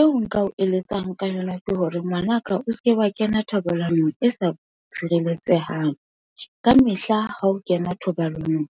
eo nka o eletsang ka yona ke hore ngwanaka o seke wa kena thobalanong e sa tshireletsehang, ka mehla ha o kena thobalanong,